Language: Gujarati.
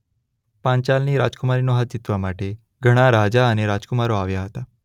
પાંચાલની રાજકુમારીના હાથ જીતવામાટે ઘણાં રાજા અને રાજકુમારો આવ્યાં હતાં.